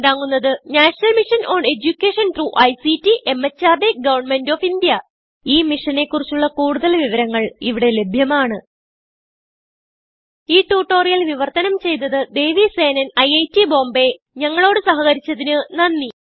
ഇതിനെ പിന്താങ്ങുന്നത് national mission on education through ICT MHRD government of India ഈ മിഷനെ കുറിച്ചുള്ള കുടുതൽ വിവരങ്ങൾ ഇവിടെ ലഭ്യമാണ് ഈ ട്യൂട്ടോറിയൽ വിവർത്തനം ചെയ്തത് ദേവി സേനൻIIT Bombayഞങ്ങളോട് സഹകരിച്ചതിന് നന്ദി